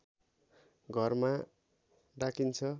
घरमा डाकिन्छ